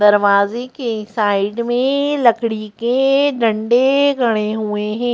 दरवाजे के साइड में लकड़ी के डंडे खड़े हुए हैं।